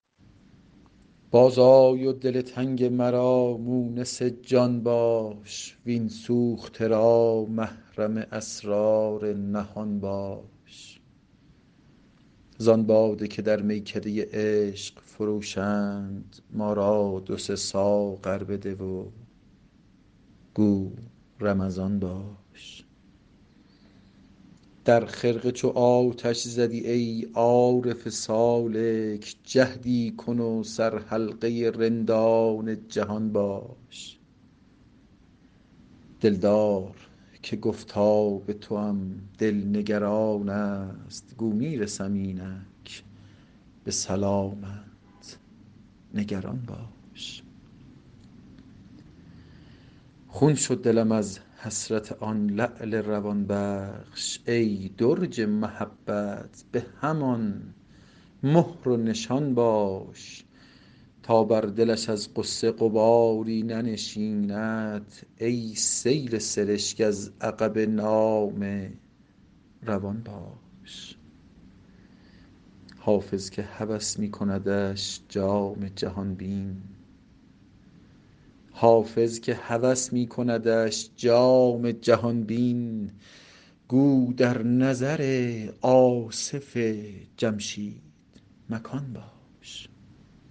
باز آی و دل تنگ مرا مونس جان باش وین سوخته را محرم اسرار نهان باش زان باده که در میکده عشق فروشند ما را دو سه ساغر بده و گو رمضان باش در خرقه چو آتش زدی ای عارف سالک جهدی کن و سرحلقه رندان جهان باش دلدار که گفتا به توام دل نگران است گو می رسم اینک به سلامت نگران باش خون شد دلم از حسرت آن لعل روان بخش ای درج محبت به همان مهر و نشان باش تا بر دلش از غصه غباری ننشیند ای سیل سرشک از عقب نامه روان باش حافظ که هوس می کندش جام جهان بین گو در نظر آصف جمشید مکان باش